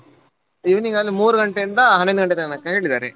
Evening ಅಲ್ಲಿ ಮೂರು ಗಂಟೆಯಿಂದ ಹನ್ನೊಂದು ಗಂಟೆ ತನಕ ಹೇಳಿದ್ದಾರೆ.